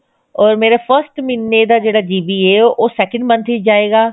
ਓਰ ਮੇਰਾ first ਮਹੀਨੇ ਦਾ ਜਿਹੜਾ GB ਹੈ ਉਹ second month ਵਿੱਚ ਜਾਏਗਾ